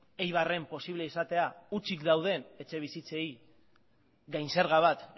eibarren posible izatea hutsik dauden etxebizitzei gain zerga bat